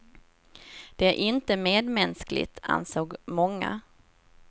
Det är inte medmänskligt, ansåg många.